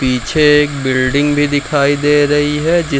पीछे एक बिल्डिंग भी दिखाई दे रही है जी --